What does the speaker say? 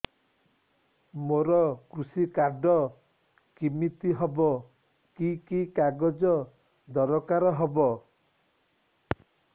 ମୋର କୃଷି କାର୍ଡ କିମିତି ହବ କି କି କାଗଜ ଦରକାର ହବ